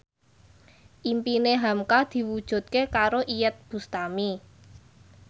impine hamka diwujudke karo Iyeth Bustami